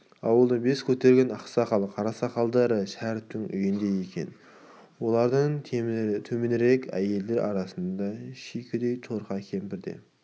ауылдың бас көтерген ақсақал қарасақалдары шәріптің үйінде екен олардан төменірек әйелдер арасыңда шүйкедей торқа кемпір де